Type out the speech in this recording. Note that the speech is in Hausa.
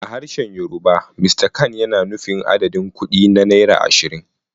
A harshen Yorùbá, "Mr kan" yana nufin adadin kuɗi na naira ashirin.